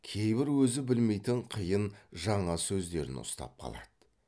кейбір өзі білмейтін қиын жаңа сөздерін ұстап қалады